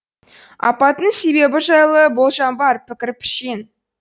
апаттың себебі жайлы болжам бар пікір пішен